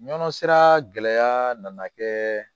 Nɔnɔ sera gɛlɛya nana kɛ